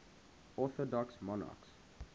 orthodox monarchs